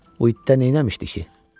Uddada nə eləmişdi ki?